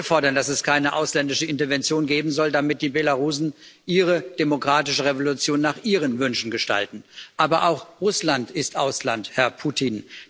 Auch wir fordern, dass es keine ausländische Intervention geben soll, damit die Belarussen ihre demokratische Revolution nach ihren Wünschen gestalten. Aber auch Russland ist Ausland, Herr Putin.